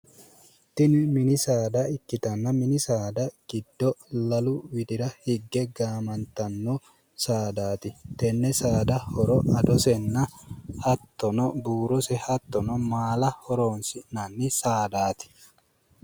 Tini mini saada ikkitanna mini saada giddo lalu widlra higge gaamantanno saadaati tenne saada horo adosenna hattono buurose hattono maala horoonsi'nanni saadaati.